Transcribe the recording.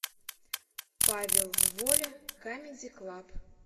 павел воля камеди клаб